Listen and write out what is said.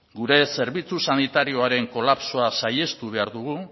gure zerbitzu sanitarioaren kolapsoa saihestu behar dugu